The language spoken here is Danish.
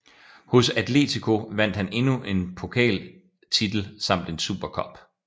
Hos Atlético vandt han endnu en pokaltitel samt en Super Cup